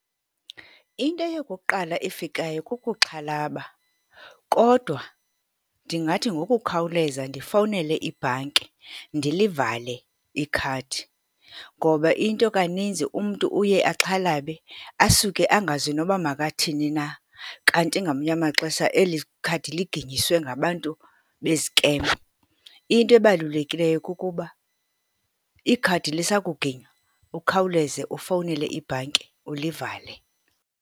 Into yokuqala efikayo kokuxhalaba kodwa ndingathi ngokukhawuleza ndifowunele ibhanki ndilivale ikhadi ngoba into kaninzi umntu uye axhalabe, asuke angazi noba makathini na. Kanti ngamanye amaxesha eli ikhadi liginyiswe ngabantu beziikemu. Into ebalulekileyo kukuba ikhadi lisakuginywa ukhawuleze ufowunele ibhanki ulivale